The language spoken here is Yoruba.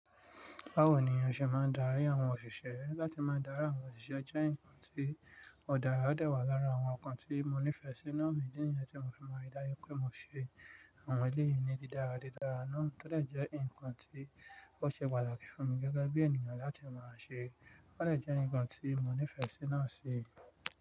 Báwo ni iṣẹ́ máa ń darí àwọn òṣìṣẹ́ láti máa dárà àwọn òṣìṣẹ́ jẹ́ nǹkan tí òdara dé wà lára àwọn nǹkan tí mo nífẹ̀ẹ́ sí náà, mi dí níyẹn tí mo fi mọ idayàkí pé mo ṣe àwọn eléyìí ní dídára dídára náà to de jẹ́ nǹkan tí ó ṣe pàtàkì fún mi gẹ́gẹ́ bí ènìyàn láti máa ṣe, ó de jẹ́ nǹkan tí mo nífẹ̀ẹ́ sí náà sí.